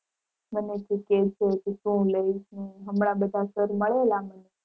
મને કે કે તું શું લઈશ ને હમણાં બધા sir મળેલા મને.